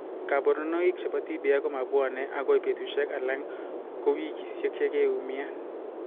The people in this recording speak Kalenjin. Kaborunoik chebo TBI komabwone akoi betusiek ala kowikisiek yekiiumian